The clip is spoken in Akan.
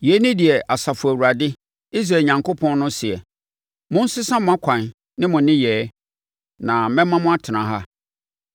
Yei ne deɛ Asafo Awurade, Israel Onyankopɔn no seɛ: Monsesa mo akwan ne mo nneyɛɛ, na mɛma mo atena ha.